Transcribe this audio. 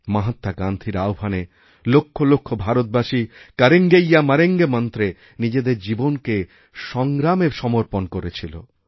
মহাত্মা গান্ধীর আহ্বানে লক্ষ লক্ষ ভারতবাসীকরেঙ্গে ইয়া মরেঙ্গে মন্ত্রে নিজেদের জীবনকে সংগ্রামে সমর্পণ করেছিল